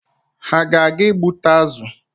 Ha a ga-aga ịgbụta azụ?